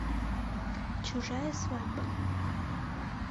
чужая свадьба